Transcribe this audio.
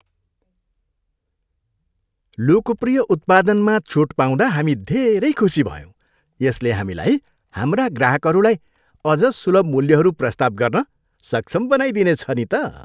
लोकप्रिय उत्पादनमा छुट पाउँदा हामी धेरै खुसी भयौँ, यसले हामीलाई हाम्रा ग्राहकहरूलाई अझ सुलभ मूल्यहरू प्रस्ताव गर्न सक्षम बनाइदिनेछ नि त।